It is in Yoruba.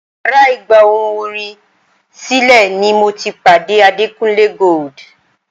Yàrá ìgbà ohùn orin sílẹ̀ ni mo ti pàdé Adekunle Gold.